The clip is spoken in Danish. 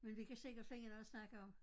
Men vi kan sikkert finde noget at snakke om